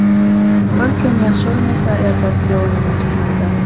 Bir kun yaxshi o‘ynasa, ertasiga o‘yini chiqmaydi.